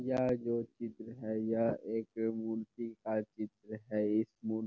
यह जो चित्र है यह एक मूर्ति का चित्र है इस मूर् --